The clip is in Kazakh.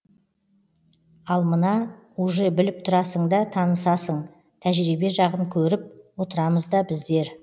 ал мына уже біліп тұрасың да танысасың тәжірибе жағын көріп отырамыз да біздер